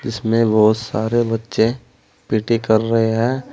इसमें बहोत सारे बच्चे पी_टी कर रहे है।